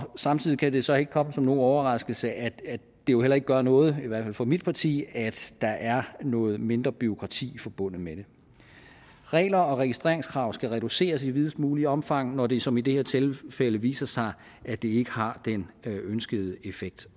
samtidig kan det så ikke komme som nogen overraskelse at det jo heller ikke gør noget i hvert fald for mit parti at der er noget mindre bureaukrati forbundet med det regler og registreringskrav skal reduceres i videst mulig omfang når det som i det her tilfælde viser sig at det ikke har den ønskede effekt